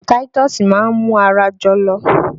Táítọ́ọ́sì máa mú ara jọ̀lọ̀